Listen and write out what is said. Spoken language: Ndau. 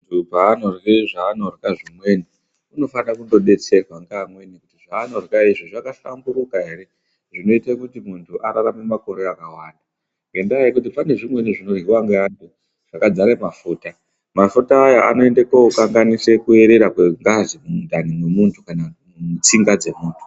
Ntu paanorye zvaonorya zvimweni unofane kudetserwa ngaantu kuti zvaanorya izvi zvakahlamburuka ere zvinoite kuti ararame makore akawanda ngendaa yekuti pane zvimweni zvinoryiwa ngaantu zvakadzare mafuta mafuta aya anoende kokanganise kuerera kwengazi mundani mwemunhu kana mutsinga dzemuntu.